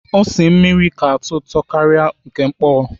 Ose mmiri ka atọ ụtọ karịa nke ọkpọ.